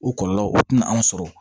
O kɔlɔlɔ o tɛna anw sɔrɔ